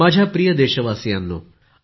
माझ्या प्रिय देशवासियांनो